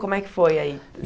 Como é que foi aí?